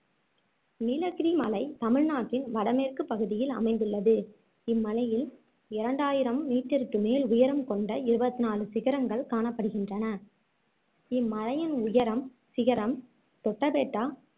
நீலகிரி மலை தமிழ்நாட்டின் வடமேற்கு பகுதியில் அமைந்துள்ளது இம்மலையில் இரண்டாயிரம் மீட்டருக்கு மேல் உயரம் கொண்ட இருபத்ஹ்டு நாலு சிகரங்கள் காணப்படுகின்றன இம்மலையின் உயரம் சிகரம் தொட்டபெட்டா